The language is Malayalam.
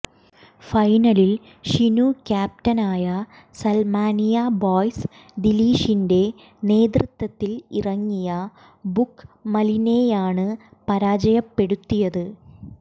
ഫൈനലിൽ ഷിനു ക്യാപ്റ്റൻ ആയ സൽമാനിയ ബോയ്സ് ദിലീഷിന്റെ നേതൃത്വത്തിൽ ഇറങ്ങിയ ബുക്കമലിനെയാണ് പരാജയപ്പെടുത്തിയത്